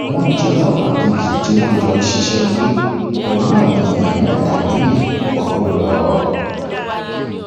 wọn jí ọlọpàá kejì tí wọn jọ ń ṣiṣẹ gbé pẹlú àwọn èèyàn mẹta míín wọgbó lọ